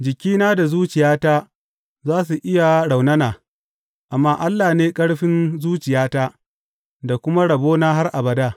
Jikina da zuciyata za su iya raunana, amma Allah ne ƙarfin zuciyata da kuma rabona har abada.